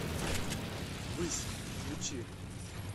высь включи